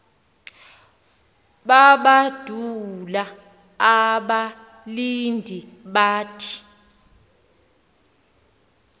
balandula abalindi bathi